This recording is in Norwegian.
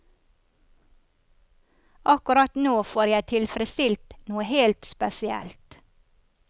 Akkurat nå får jeg tilfredsstilt noe helt spesielt.